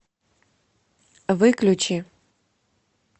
выключи